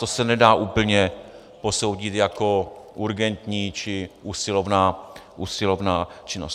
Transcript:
To se nedá úplně posoudit jako urgentní či usilovná činnost.